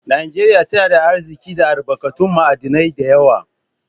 Najeriya tana da Arziki da albarkatun ma'adinai da yawa